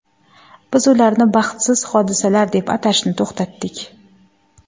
Biz ularni baxtsiz hodisalar deb atashni to‘xtatdik.